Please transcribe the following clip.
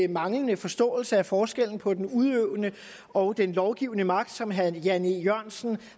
manglende forståelse af forskellen på den udøvende og den lovgivende magt som herre jan e jørgensen